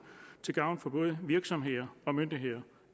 til gavn for både virksomheder og myndigheder